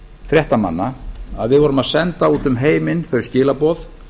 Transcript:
fréttamanna að við vorum að senda út um heiminn þau skilaboð